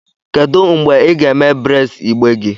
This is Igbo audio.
Kedu mgbe ị ga-eme braids igbe?